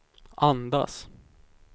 andas